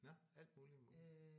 Nåh alt muligt?